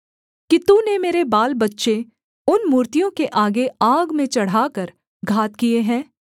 कि तूने मेरे बालबच्चे उन मूर्तियों के आगे आग में चढ़ाकर घात किए हैं